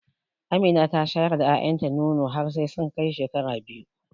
Amina tana shayar da ƴaƴan ta nono har sai sun kai shekara biyu.